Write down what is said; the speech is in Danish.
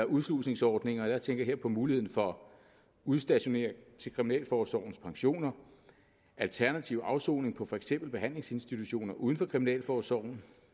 udslusningsordninger og jeg tænker her på muligheden for udstationering til kriminalforsorgens pensioner alternativ afsoning på for eksempel behandlingsinstitutioner uden for kriminalforsorgen